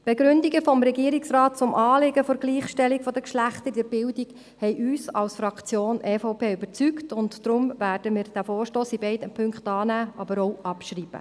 Die Begründungen des Regierungsrates zum Anliegen der Gleichstellung der Geschlechter in der Bildung haben uns als Fraktion EVP überzeugt, und deshalb werden wir diesen Vorstoss in beiden Punkten annehmen, aber auch abschreiben.